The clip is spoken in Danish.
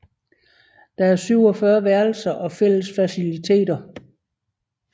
Der er 47 værelser og fælles faciliteter